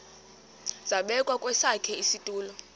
zabekwa kwesakhe isitulo